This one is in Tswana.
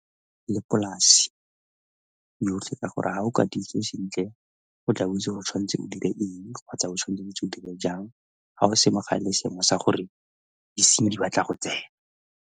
Le polasi yotlhe ka gore ga o ka sentle go tla be o itse gore o tshwanetse o dire eng kgotsa o tshwanetse dilo jang ga o se seemo sa gore disenyi di batla go tsena.